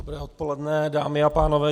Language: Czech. Dobré odpoledne dámy a pánové.